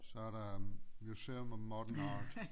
Så er der Museum of Modern Art